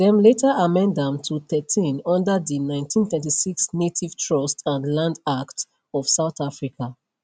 dem later amend am to thirteen under di 1936 native trust and land act of south africa